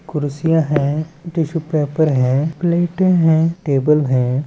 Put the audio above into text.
कुर्सिया है tissue paper है प्लेटे है टेबल है।